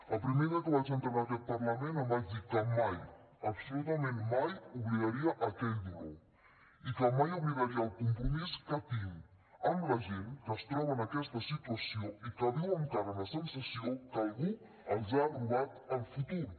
el primer dia que vaig entrar en aquest parlament em vaig dir que mai absolutament mai oblidaria aquell dolor i que mai oblidaria el compromís que tinc amb la gent que es troba en aquesta situació i que viu encara amb la sensació que algú els ha robat el futur